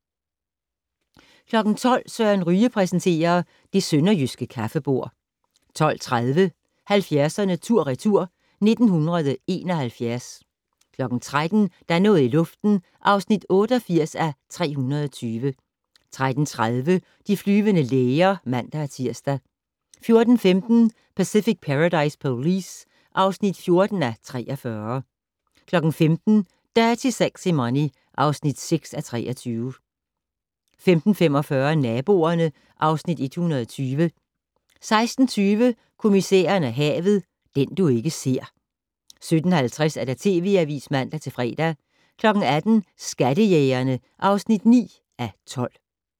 12:00: Søren Ryge præsenterer: Det sønderjyske kaffebord 12:30: 70'erne tur/retur: 1971 13:00: Der er noget i luften (88:320) 13:30: De flyvende læger (man-tir) 14:15: Pacific Paradise Police (14:43) 15:00: Dirty Sexy Money (6:23) 15:45: Naboerne (Afs. 120) 16:20: Kommissæren og havet: Den du ikke ser 17:50: TV Avisen (man-fre) 18:00: Skattejægerne (9:12)